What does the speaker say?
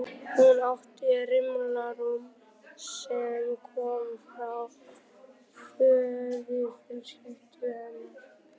Hún átti rimla rúm sem kom frá föðurfjölskyldu hennar.